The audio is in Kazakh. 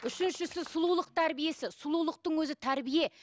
үшіншісі сұлулық тәрбиесі сұлулықтың өзі тәрбие